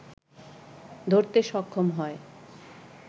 ধরতে সক্ষম হয়